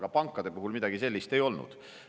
Aga pankade puhul midagi sellist ei olnud.